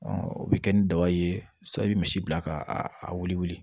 o bɛ kɛ ni daba ye sa i bɛ misi bila ka a wuli wuli